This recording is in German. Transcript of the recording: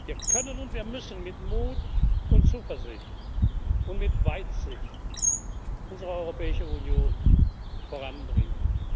Wir können und wir müssen mit Mut und Zuversicht und mit Weitsicht unsere Europäische Union voranbringen.